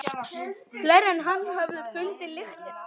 Fleiri en hann höfðu fundið lyktina.